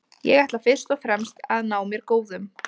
Ég ætla fyrst og fremst að ná mér góðum.